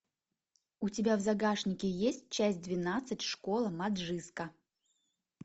у тебя в загашнике есть часть двенадцать школа маджиска